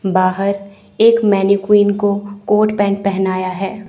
बाहर एक मैनिक्विन को कोट पेंट पहनाया है।